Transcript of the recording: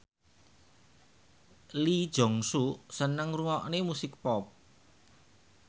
Lee Jeong Suk seneng ngrungokne musik pop